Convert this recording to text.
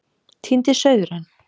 Týndi sauðurinn